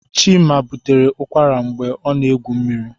Chieme butere ụkwara mgbe ọ na egwu mmiri